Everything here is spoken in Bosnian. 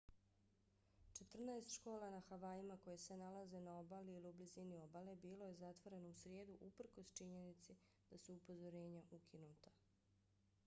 četrnaest škola na havajima koje se nalaze na obali ili u blizini obale bilo je zatvoreno u srijedu uprkos činjenici da su upozorenja ukinuta